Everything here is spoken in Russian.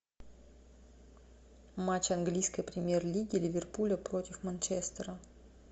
матч английской премьер лиги ливерпуля против манчестера